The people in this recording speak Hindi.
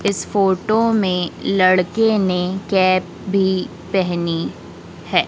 इस फोटो में लड़के ने कैप भी पहनी है।